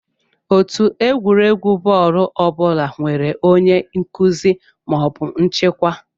Otù egwuregwu bọọlụ ọ bụla nwere onye nkụzi (nchịkwa).